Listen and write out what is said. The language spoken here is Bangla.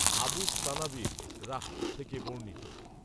আবূস সানাবিল রাঃ থেকে বর্ণিত